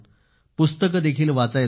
पुस्तकं देखील वाचायचो